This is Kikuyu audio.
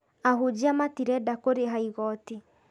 Ahunjia matirenda kũrĩha igoti